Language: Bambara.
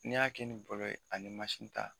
Ne y'a kɛ nin bɔlɔ ye ani masin.